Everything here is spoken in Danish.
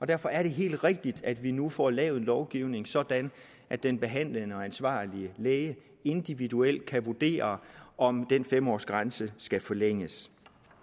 derfor er det helt rigtigt at vi nu får lavet en lovgivning sådan at den behandlende og ansvarlige læge individuelt kan vurdere om den fem års grænse skal forlænges